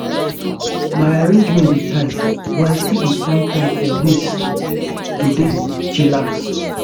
my arrangement dey tight but i still dey find time for ways to dey chillax.